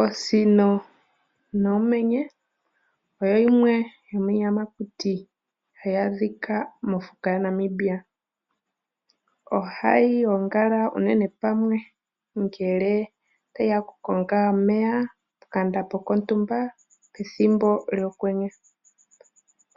Oosino noomenye oyo yimwe yomiiyamakuti ha yi adhika mofuka yaNamibia. Oha yi gongala unene pamwe ngele tayi ya oku konga omeya, pokandambo kontumba pethimbo lyokwenye.